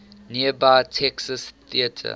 nearby texas theater